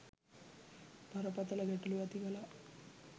බරපතළ ගැටලු ඇති කළා